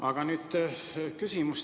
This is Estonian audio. Aga nüüd teile selline küsimus.